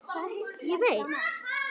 Ég veit